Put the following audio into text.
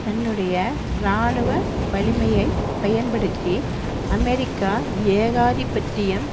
தன்னுடைய இராணுவ வலிமையை பயன்படுத்தி அமெரிக்க ஏகாதிபத்தியம்